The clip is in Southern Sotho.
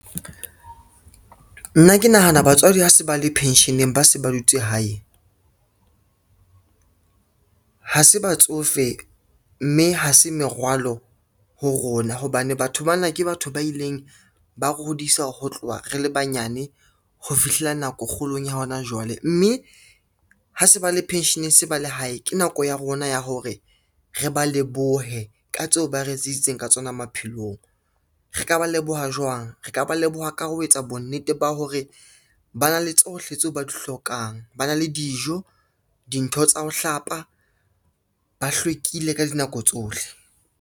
Nna ke nahana batswadi ha se ba le pension-eng ba se ba dutse hae, ha se batsofe mme ha se merwalo ho rona, hobane batho bana ke batho ba ileng ba re hodise ho tloha re le banyane ho fihlela nako kgolong ya hona jwale, mme ha se ba le pension-eng ba lehae ke nako ya rona ya hore re ba lebohe ka tseo ba re etseditseng ka tsona maphelong. Re ka ba leboha hwa jwang, re ka ba leboha ka ho etsa bonnete ba hore ba na le tsohle tseo ba di hlokang, ba na le dijo, dintho tsa ho hlapa, ba hlwekile ka dinako tsohle.